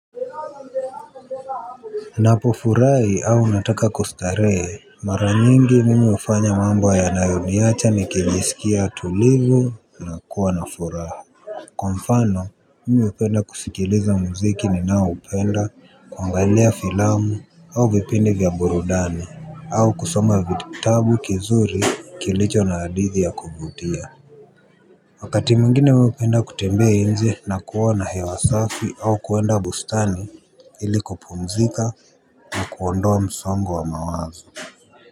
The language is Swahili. Napofurahi au nataka kustarehe mara nyingi mimi hufanya mambo yanayoniacha nikijisikia tulivu na kuwa na furaha. Kwa mfano mimi hupenda kusikiliza muziki ninao upenda, kuangalia filamu au vipindi vya burudani au kusoma vitabu kizuri kilicho na hadithi ya kuvutia. Wakati mwingine mimi hupenda kutembea nje na kuwa na hewa safi au kuenda bustani ili kupumzika na kuondoa msongo wa mawazo.